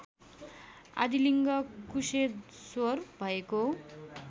आदिलिङ्ग कुशेश्वर भएको